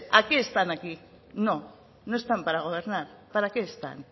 a qué están aquí no no están para gobernar para qué están